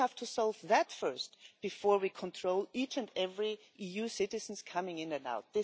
So we have to solve that first before we control each and every EU citizen coming in and out.